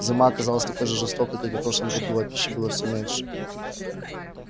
зима оказалась такой же жестокой как и в прошлом году а пищи было всё меньше